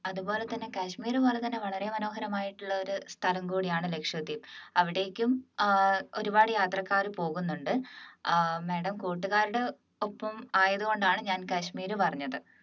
അതുപോലെതന്നെ കാശ്മീർ പോലെ തന്നെ വളരെ മനോഹരമായിട്ടുള്ള ഒരു സ്ഥലം കൂടിയാണ് ലക്ഷദ്വീപ് അവിടേക്കും ഏർ ഒരുപാട് യാത്രക്കാർ പോകുന്നുണ്ട് madam കൂട്ടുകാരുടെ ഒപ്പം ആയതുകൊണ്ടാണ് ഞാൻ കാശ്മീർ പറഞ്ഞത്